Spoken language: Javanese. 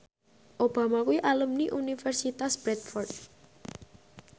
Obama kuwi alumni Universitas Bradford